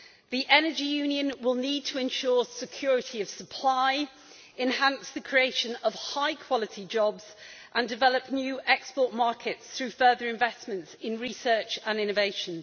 The Energy Union will need to ensure security of supply, enhance the creation of high-quality jobs and develop new export markets through further investment in research and innovation.